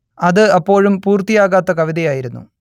അത് അപ്പോഴും പൂർത്തിയാകാത്ത കവിതയായിരുന്നു